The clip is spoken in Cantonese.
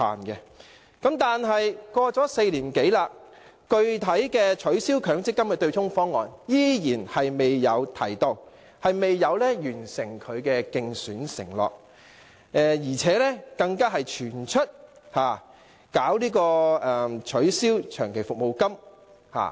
可是 ，4 年多過去了，他依然未有提出取消強積金對沖機制的具體方案，未有履行其競選承諾，而且更傳出打算取消長期服務金。